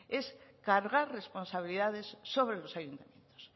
es cargar responsabilidades sobre los ayuntamientos